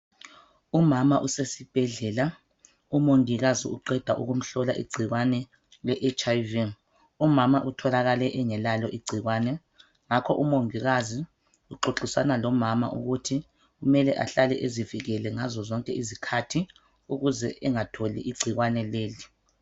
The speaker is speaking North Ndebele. Umama usesibhedlela umongikazi uqeda ukumhlola igciwane le hiv umama utholakale engelalo igciwane. Ngakho umongikazi uxoxisana lomama ukuthi kumele ahlale ezivikele ngazo zonke izikhathi ukuze angatholi igcikwane leli.